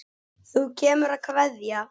Þú kemur að kveðja.